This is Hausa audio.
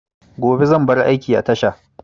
Gobe zan bar aiki a tasha